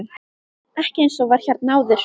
Ekki eins og var hérna áður.